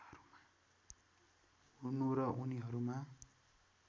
हुनु र उनीहरूमा